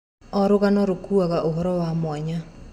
O rũgano rũkuaga ũhoro wa mwanya.